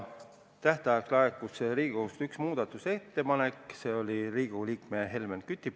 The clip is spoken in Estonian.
Tähtajaks laekus Riigikogust üks muudatusettepanek, see oli Riigikogu liikmelt Helmen Kütilt.